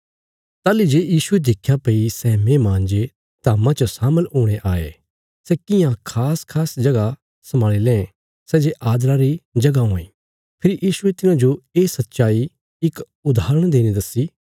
ताहली जे यीशुये देख्या भई सै मैहमान जे धाम्मा च शामल हुणे औयें सै कियां खासखास जगह सम्भाल़ी लें सै जे आदरा री जगह हुआंईं फेरी यीशुये तिन्हाजो ये सच्चाई इक उदाहरण देईने दस्सी